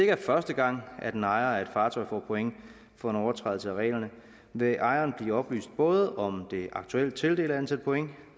er første gang at en ejer af et fartøj får point for en overtrædelse af reglerne vil ejeren blive oplyst både om det aktuelle tildelte antal point